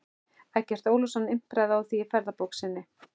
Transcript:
Eggert Ólafsson impraði á því í ferðabók sinni